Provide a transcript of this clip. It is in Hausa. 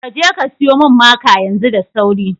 Kaje ka siyo min maka yanzu da sauri